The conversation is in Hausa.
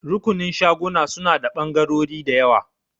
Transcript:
Rukunin shaguna suna da ɓangarori da yawa.